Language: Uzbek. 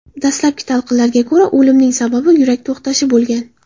Dastlabki talqinlarga ko‘ra, o‘limning sababi yurak to‘xtashi bo‘lgan.